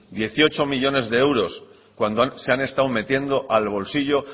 dieciocho millónes de euros cuando se han estado metiendo al bolsillo